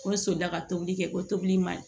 Ko n solila ka tobili kɛ ko tobili man ɲi